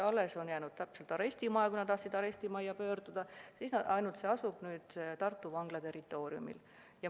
Arestimaja, kuhu inimesed on tahtnud pöörduda, on alles, ainult see hakkab asuma Tartu Vangla territooriumil.